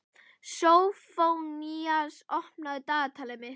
Sófónías, opnaðu dagatalið mitt.